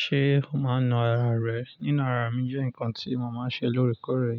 Ṣé o máa ń nu ara rẹ? Nínu ara mi jẹ́ nǹkan tí mo máa ń ṣe lóòrèkóòrè.